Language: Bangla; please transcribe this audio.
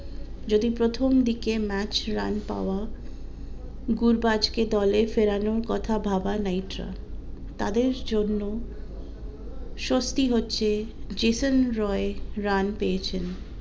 যদি প্রথম দিকে ম্যাচ রান পাওয়া গুরবাজ কে দলের ফেরানোর কথা ভাবা নাইটরা তাদের জন্য স্বস্তি হচ্ছে জেসন রয় রান পেয়েছেন